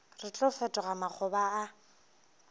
re tlo fetoga makgoba a